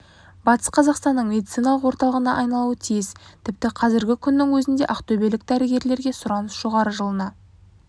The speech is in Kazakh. батыс қазақстанның медициналық орталығына айналуы тиіс тіпті қазіргі күннің өзінде ақтөбелік дәрігерлерге сұраныс жоғары жылына